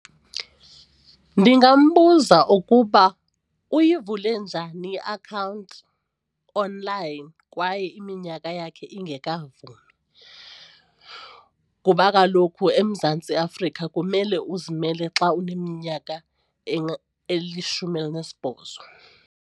Ndingambuza ukuba uyivule njani iakhawunti online kwaye iminyaka yakhe ingekavumi kuba kaloku eMzantsi Afrika kumele uzimele xa uneminyaka elishumi elinesibhozo.